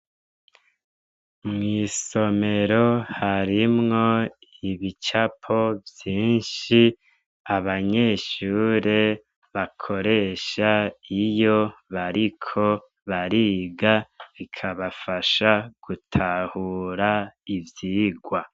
Mwisomero harimwo ibicapo vyinshi abanyeshure bakoresha iyo bariko bariga bikabafasha gutahura ivyigwa.